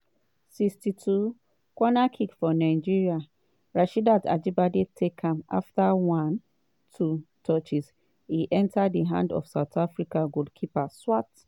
62' corner kick for nigeria rasheedat ajibade take am afta one-two touches e enta di hand of south africa goalkeeper swart.